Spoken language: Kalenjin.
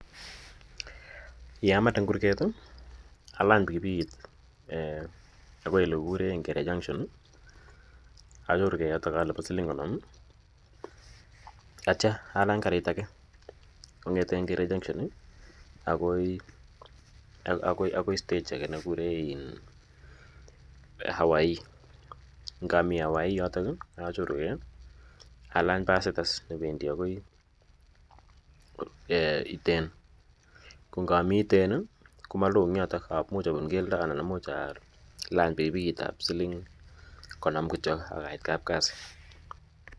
Ye amende en kurget i, alany pikipikit akoi ole kikure Ngere Junction, achorugei yotok alipan siling' konom atia alany karit age kong'ete Ngere Junction akoi stage age ne kikuree Hawaii. Ngami Hawaii yotok achorugei, alany pasit as ne wendi akoi Iten. Ko ngami Iten komalo eng' yotok. Imuchi alany pikipikit ap siling' konom kityo, ak aiit kapkasi.